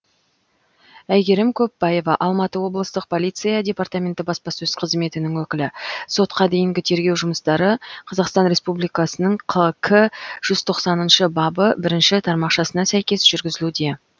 әйгерім көппаева алматы облыстық полиция департаменті баспасөз қызметінің өкілі сотқа дейінгі тергеу жұмыстары қазақстан республикасының қк жүз тоқсаныншы бабы бірінші тармақшасына сәйкес жүргізілуде